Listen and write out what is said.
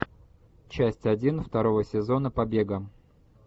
часть один второго сезона побега